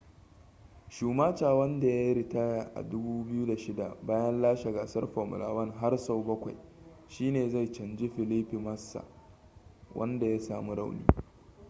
schumacher wanda ya yi ritaya a 2006 bayan lashe gasar formula 1 har sau bakwai shine zai canji felipe massa wanda ya sami rauni